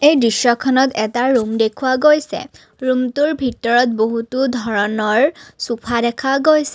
এই দৃশ্যখনত এটা ৰুম দেখুওৱা গৈছে ৰুমটোৰ ভিতৰত বহুতো ধৰণৰ চোফা দেখা গৈছে।